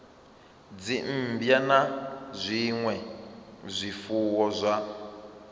dzimmbwa na zwinwe zwifuwo zwa